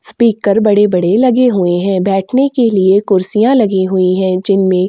speaker बड़े-बड़े लगे हुए है बैठने के लिए खुर्शियाँ लगी हुई है जिनमे--